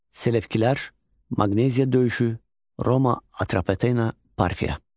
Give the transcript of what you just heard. Selevkilər, Maqneziya döyüşü, Roma, Atropatena, Parfiya.